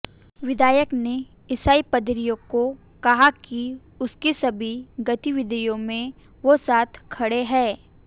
विधायक ने ईसाई पादरियों को कहा कि उनकी सभी गतिविधियों में वो साथ खड़े हैं